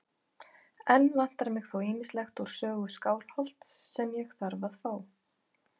Enn vantar mig þó ýmislegt úr sögu Skálholts sem ég þarf að fá.